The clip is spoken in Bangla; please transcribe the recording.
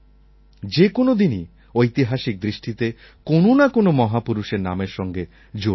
যে কোনও দিনই ঐতিহাসিক দৃষ্টিতে কোনো না কোনো মহাপুরুষের নামের সঙ্গে জড়িয়ে আছে